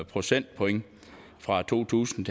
procentpoint fra to tusind